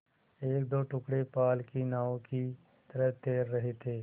एकदो टुकड़े पाल की नावों की तरह तैर रहे थे